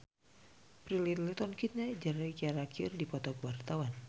Prilly Latuconsina jeung Ciara keur dipoto ku wartawan